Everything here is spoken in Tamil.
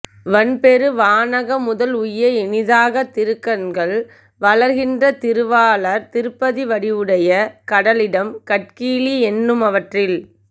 வன் பெரு வானக முதல் உய்ய இனிதாகத் திருக் கண்கள் வளர்கின்ற திருவாளர் திருப்பதி வடிவுடை கடலிடம் கட்கிலீ என்னுமவற்றில்